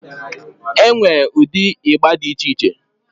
Enwee ụdị ịgba dị iche iche